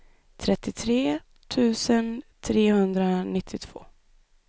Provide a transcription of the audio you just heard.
trettiotre tusen trehundranittiotvå